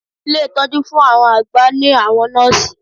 Ilé ìtọjú fun àwọn àgbà ní àwọn nọ́ọ̀sì.